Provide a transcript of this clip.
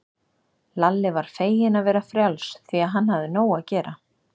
Lalli var feginn að vera frjáls, því að hann hafði nóg að gera.